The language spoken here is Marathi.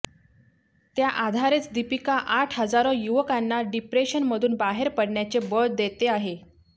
त्या आधारेच दीपिका आज हजारो युवकांना डिप्रेशनमधून बाहेर पडण्याचे बळ देते आहे